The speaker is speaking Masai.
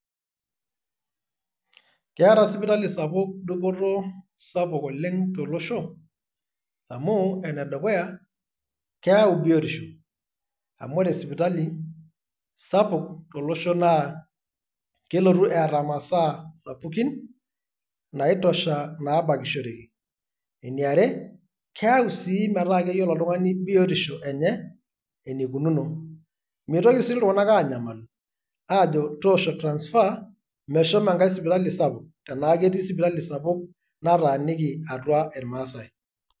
Keeta sipitali sapuk dupoto sapuk oleng' tolosho, amu enedukuya; keyau biotisho, amu ore sipitali sapuk tolosho naa, kelotu eeta masaa sapukin, naitusha nabakishoreki. Eniare, keao si metaa keyiolo oltung'ani biotisho enye, enikununo. Mitoki si iltung'anak aanyamalu, ajo toosho transfer meshomo enkae sipitali sapuk, etaa ketii sipitali sapuk nataaniki atua irmaasai.